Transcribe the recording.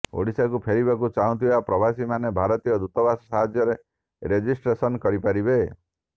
ଓଡ଼ିଶାକୁ ଫେରିବାକୁ ଚାହୁଁଥିବା ପ୍ରବାସୀମାନେ ଭାରତୀୟ ଦୂତାବାସ ସାହାଯ୍ୟରେ ରେଜିଷ୍ଟ୍ରେସନ କରିପାରିବେ